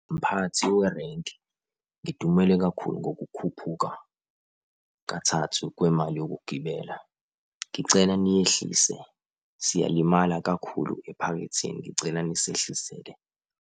Mphathi werenki, ngidumele kakhulu ngokukhuphuka kathathu kwemali yokugibela. Ngicela niyehlise, siyalimala kakhulu ephaketheni ngicela nisehlisele.